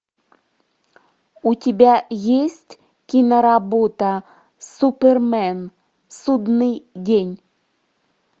у тебя есть киноработа супермен судный день